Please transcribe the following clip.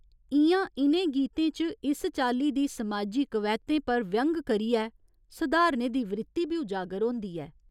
इ'यां इ'नें गीतें च इस चाल्ली दी समाजी कवैह्तें पर व्यंग करियै सुधारने दी वृत्ति बी उजागर होंदी ऐ।